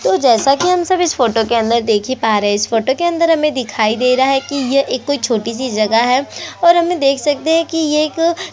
तो जैसा कि हम सब इस फोटो के अंदर देख ही पा रहे है इस फोटो के अंदर हमें दिखाई दे रहा है कि ये एक कोई छोटी सी जगह है और हम ये देख ही सकते है कि ये एक--